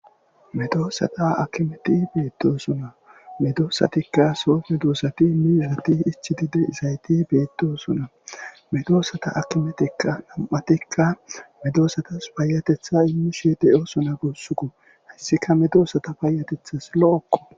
Medosatika betosona medosatika so medosta izatika ichidi betosona hkimeti ubatika medosatuyo payateta imishe dosonako izika medosatupe payatetawu lo" oko ..